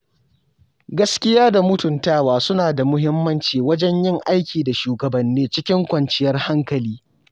Gaskiya da mutuntawa suna da muhimmanci wajen yin aiki da shugabanni cikin kwanciyar hankali.